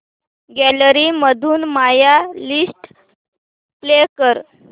gallery मधून my list play कर